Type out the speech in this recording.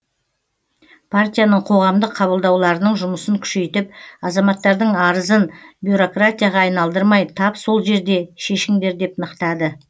партияның қоғамдық қабылдауларының жұмысын күшейтіп азаматтардың арызын бюроракратияға айналдырмай тап сол жерде шешіңдер деп нықтады